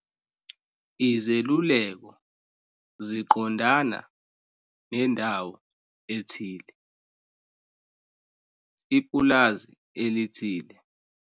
Izeluleko ziqondana nendawo ethile, ipulazi elithile.